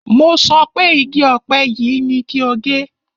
Mo sọ pé igi ọ̀pẹ yìí ni kí o gé!